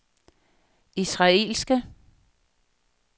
israelske